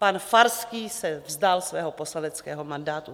Pan Farský se vzdal svého poslaneckého mandátu.